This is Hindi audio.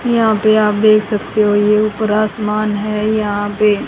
यहां पे आप देख सकते हो ये ऊपर आसमान हैं यहां पे--